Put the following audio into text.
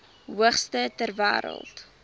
hoogste ter wêreld